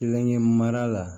Kelenkɛ mara la